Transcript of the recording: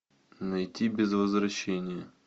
найти без возвращения